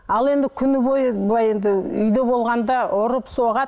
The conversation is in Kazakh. ал енді күні бойы былай енді үйде болғанда ұрып соғады